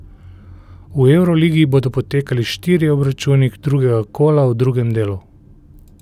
V evroligi bodo potekali štirje obračuni drugega kola v drugem delu.